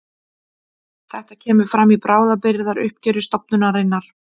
Þetta kemur fram í bráðabirgðauppgjöri stofnunarinnar